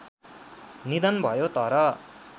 निधन भयो तर